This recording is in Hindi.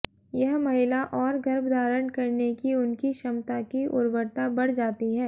यह महिला और गर्भ धारण करने की उनकी क्षमता की उर्वरता बढ़ जाती है